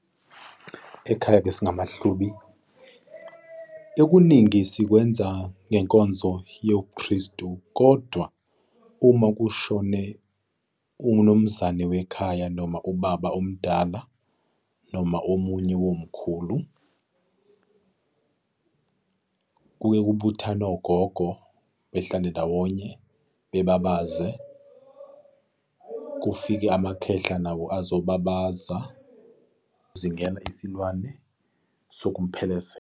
Ekhaya-ke singamaHlubi, okuningi sikwenza ngenkonzo yobuKristu. Kodwa uma kushone umnumzane wekhaya noma ubaba omdala noma omunye womkhulu, kuye kubuthane ogogo behlale ndawonye, bebabaze, kufike umakhehla nawo azobabaza, singene isilwane sokumphelezela.